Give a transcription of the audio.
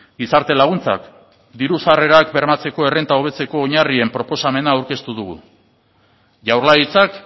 gizarte laguntzak diru sarrerak bermatzeko errenta hobetzeko oinarrien proposamena aurkeztu dugu jaurlaritzak